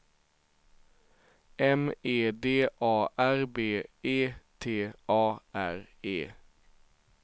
M E D A R B E T A R E